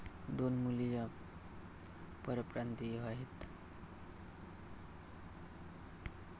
दोन मुली या परप्रांतीय आहेत.